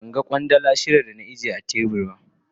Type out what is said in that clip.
Ban gan Kwandala shida da na ajiye a tebur.